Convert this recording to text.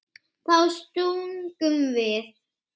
Þá stungum við